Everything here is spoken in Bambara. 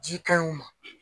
Ji ka ɲi u ma.